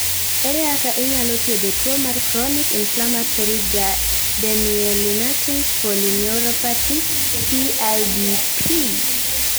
Ere kaka inyalo thiedho tuo mar chronic inflammatory demyelinating polyneuropathy (CIDP)?